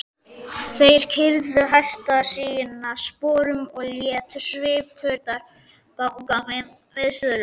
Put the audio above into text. Þeir keyrðu hesta sína sporum og létu svipurnar ganga viðstöðulaust.